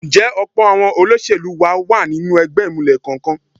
Ǹjẹ́ ọ̀pọ̀ àwọn olóṣèlú wa wà nínú ẹgbẹ́ ìmùlẹ̀ kankan?